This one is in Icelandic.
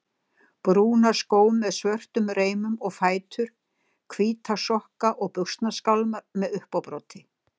Brúna skó með svörtum reimum og fætur, hvíta sokka og buxnaskálmar með uppábroti.